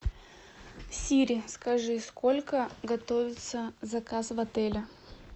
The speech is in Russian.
сири скажи сколько готовится заказ в отеле